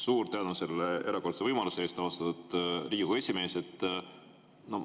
Suur tänu selle erakordse võimaluse eest, austatud Riigikogu esimees!